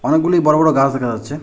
অনেকগুলি বড় বড় গাস দেখা যাচ্ছে।